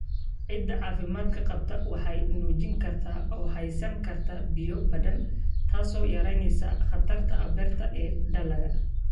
Ciidda caafimaadka qabta waxay nuugi kartaa oo haysan kartaa biyo badan, taasoo yaraynaysa khatarta abaarta ee dalagga.